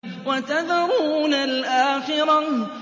وَتَذَرُونَ الْآخِرَةَ